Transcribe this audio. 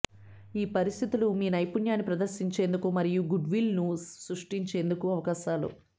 ఈ పరిస్థితులు మీ నైపుణ్యాన్ని ప్రదర్శించేందుకు మరియు గుడ్విల్ను సృష్టించేందుకు అవకాశాలు